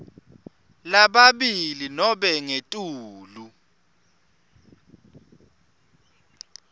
lababili nobe ngetulu